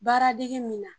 Baara degi min na